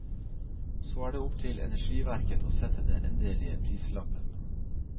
Så er det opp til energiverket å sette den endelige prislappen.